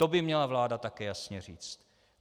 To by měla vláda také jasně říct.